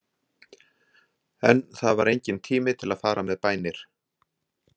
En það var enginn tími til að fara með bænir.